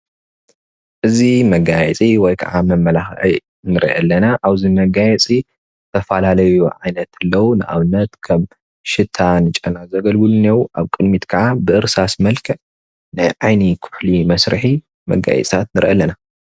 እዚ መጋየፂ ወይ ከዓ መመላክዒ ንሪኦ አለና አብዚ መጋየፂን ዝተፈላለዩ ዓይነት አለው። ንአብነት ከም ሽታ ጨና ዘገልጉሉ አለዉ፡፡ አብ ብቅድሚቲ ከዓ በእርሳስ መልክዕ ናይ ዓይኒ ኩሕሊ መስሪሒ መጋየፂታት ንሪኢ አለና፡፡